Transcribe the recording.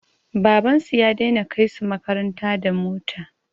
Baban su ya dai na kai su makaranta da mota